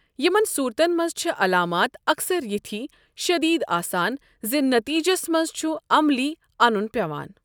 یِمن صوٗرتن منٛز چھِ علامات اکثر یِتھۍ شٔدیٖد آسان زِ نٔتیٖجس منٛز چُھ عملی انُن پیوان ۔